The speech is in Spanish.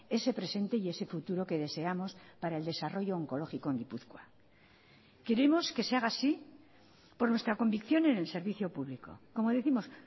ese presente y ese futuro que deseamos para el desarrollo oncológico en gipuzkoa queremos que se haga así por nuestra convicción en el servicio público como décimos